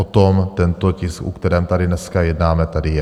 O tom tento tisk, o kterém tady dneska jednáme, tady je.